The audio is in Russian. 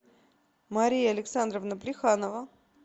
мария александровна плеханова